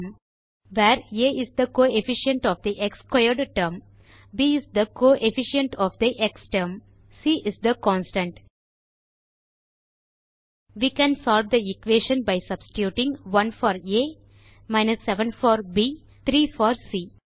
where a is the coefficient of the x squared term b is the coefficient of the x term c is the constant we can solve the equation by substituting 1 for a 7 for b 3 for C